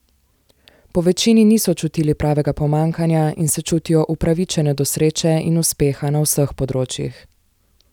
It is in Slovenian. Po večini niso čutili pravega pomanjkanja in se čutijo upravičene do sreče in uspeha na vseh področjih.